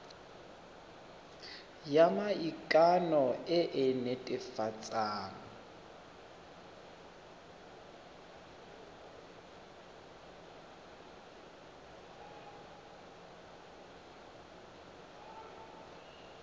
ya maikano e e netefatsang